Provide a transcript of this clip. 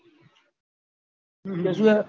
હમ હમ